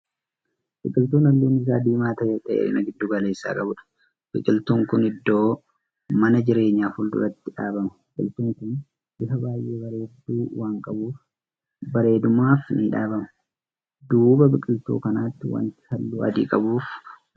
Biqiltuu halluun Isaa diimaa ta'eefi dheerina gidduu galeessaa qabuudha. biqiltuun Kuni iddoo mana jireenyaa fuulduraatti dhaabbama. biqiltuun Kun bifa baay'ee bareeddu waan qabuuf bareedumaaf ni dhaabbama. duuba biqiltuu kanaatti wanti halluu adii qabuufi manni ni Jira.